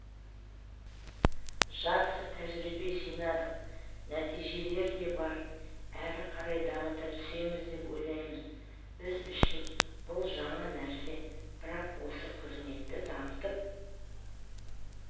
жақсы тәжірибе жинадық нәтижелер де бар әрі қарай дамыта түсеміз деп ойлаймын біз үшін бұл жаңа нәрсе бірақ осы қызметті дамытып